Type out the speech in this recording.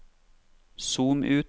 zoom ut